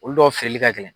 Olu dɔw feereli ka gɛlɛn